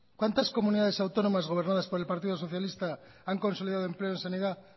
cuántas comunidades autónomas gobernadas por el partido socialista han consolidado empleo en sanidad